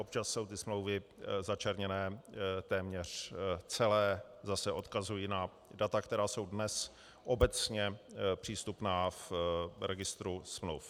Občas jsou ty smlouvy začerněné téměř celé, zase odkazuji na data, která jsou dnes obecně přístupná v registru smluv.